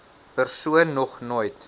persoon nog nooit